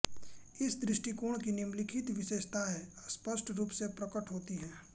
इस दृष्टिकोण की निम्नलिखित विशेषताएँ स्पष्ट रूप से प्रकट होती हैं